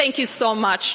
Thank you so much.